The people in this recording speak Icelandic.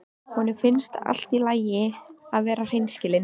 Honum finnst allt í lagi að vera hreinskilinn.